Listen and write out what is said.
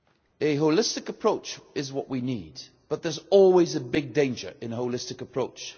A holistic approach is what we need, but there is always a big danger in a holistic approach.